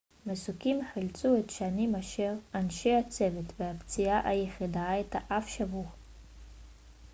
מסוקים חילצו את שנים-עשר אנשי הצוות והפציעה היחידה הייתה אף שבור